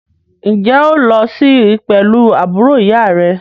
Ǹjẹ́ o óò lo sí pẹ̀lú àbúrò ìyá à rẹ?